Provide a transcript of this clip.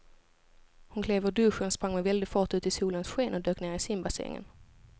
Hon klev ur duschen, sprang med väldig fart ut i solens sken och dök ner i simbassängen.